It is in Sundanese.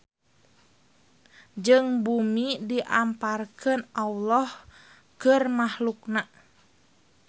Jeung bumi diamparkeun Alloh keur mahluk-Na.